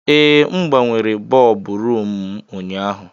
Ee, M gbanwere bọlbụ rumụ m ụnyaahụ.